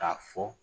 K'a fɔ